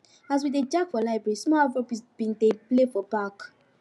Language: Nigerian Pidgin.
as we dey jack for library small afrobeat bin dey play for back